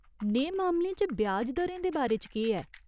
नेह् मामलें च ब्याज दरें दे बारे च केह् ऐ ?